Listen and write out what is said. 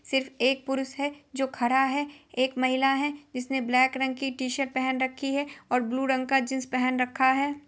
सिर्फ एक पुरुष है जो खड़ा है एक महिला है जिसने ब्लैक रंग की टी-शर्ट पहन रखी है और ब्लू रंग का जीन्स पहन रखा है।